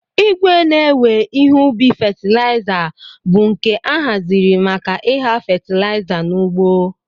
Igwe ne-ewe ihe ubi fatlaiza bu nke ahaziri maka igha fatilaiza n'ugbo.